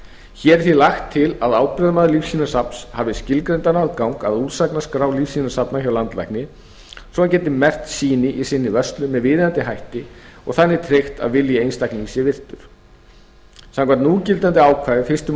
hér er því lagt til að ábyrgðarmaður lífsýnasafns hafi skilgreindan aðgang að úrsagnaskrá lífsýnasafna hjá landlækni svo hann geti merkt sýni í sinni vörslu með viðeigandi hætti og þannig tryggt að vilji einstaklings sé virtur samkvæmt núgildandi ákvæði fyrstu